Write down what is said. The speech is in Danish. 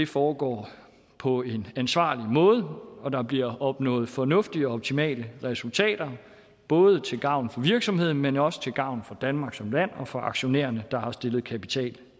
foregår på en ansvarlig måde og at der bliver opnået fornuftige og optimale resultater både til gavn for virksomheden men også til gavn for danmark som land og for aktionærerne der har stillet kapital